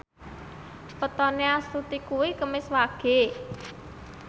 wetone Astuti kuwi Kemis Wage